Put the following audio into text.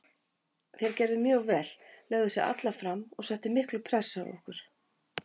Þeir gerðu mjög vel, lögðu sig alla fram og settu mikla pressu á okkur.